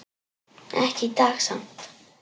Ekki í dag samt.